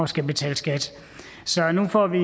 skulle betale skat så nu får vi